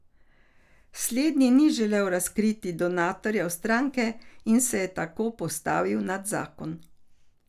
Slednji ni želel razkriti donatorjev stranke in se je tako postavil nad zakon.